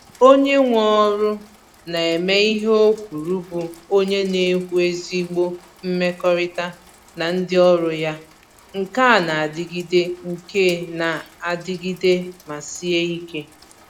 Onye nwe ọrụ na-eme ihe o kwuru bụ onye na-ewu ezigbo mmekọrịta na ndị ọrụ ya — nke na adịgide nke na adịgide ma sie ike.